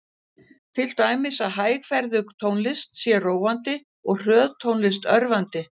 Til dæmis að hægferðug tónlist sé róandi og hröð tónlist örvandi.